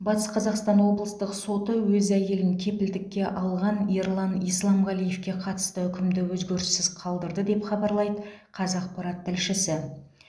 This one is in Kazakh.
батыс қазақстан облыстық соты өз әйелін кепілдікке алған ерлан исламғалиевке қатысты үкімді өзгеріссіз қалдырды деп хабарлайды қазақпарат тілшісі